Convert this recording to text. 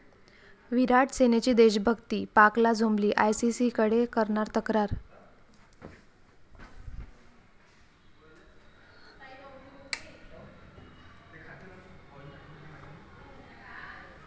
विराट'सेनेची देशभक्ती पाकला झोंबली, आयसीसीकडे करणार तक्रार